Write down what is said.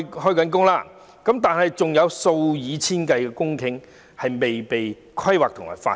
除此之外，還有數以千計公頃的土地未被規劃和發展。